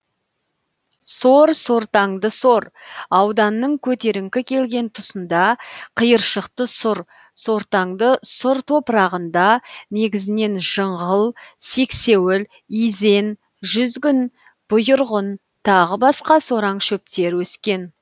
сор сортаңды сор ауданның көтеріңкі келген тұсында қиыршықты сұр сортаңды сұр топырағында негізінен жыңғыл сексеуіл изен жүзгін бұйырғын тағы басқа сораң шөптер өскен